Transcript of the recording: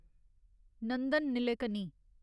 Nandan Nilekani